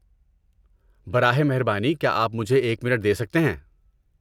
براہ مہربانی کیا آپ مجھے ایک منٹ دے سکتے ہیں؟